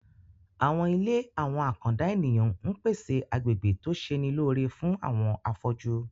Àwọn ilé àwọn àkàndá ènìyàn ń pèsè agbegbe tó ṣe'ni lóore fún àwọn afọ́jú